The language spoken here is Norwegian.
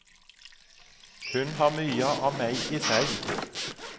Hun har mye av meg i seg.